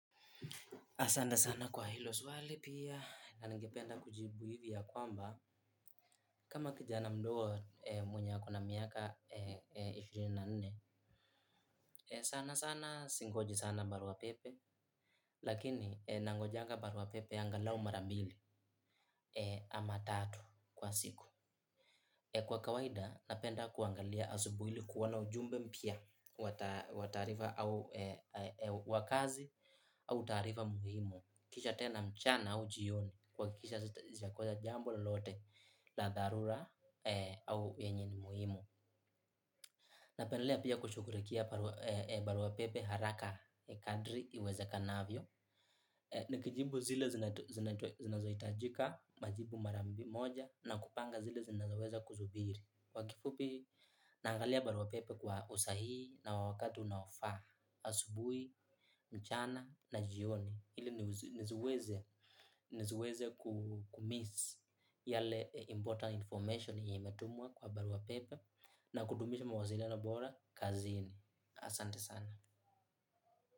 Asante sana kwa hilo swali pia na ningependa kujibu hivi ya kwamba kama kijana mdogo mwenye akona miaka ishirini na nne sana sana singoji sana barua pepe lakini nangojanga barua pepe angalau mara mbili ama tatu kwa siku. Kwa kawaida, napenda kuangalia asubuhi ili kuona ujumbe mpya wa taarifa au wa kazi au taarifa muhimu. Kisha tena mchana au jioni kuhakisha sijakosa jambo lolote la dharura au yenye ni muhimu. Napendelea pia kushughulikia baruapepe haraka kadri iwezekanavyo. Nikijibu zile zinazohitajika, majibu mara moja na kupanga zile zinazoweza kusubiri. Kwa kifupi naangalia barua pepe kwa usahii na wakati unaofaa asubuhi mchana mchana ili nisiweze kumiss yale important information yenye imetumwa kwa barua pepe na kutumisha mawasiliano bora, kazini asante sana.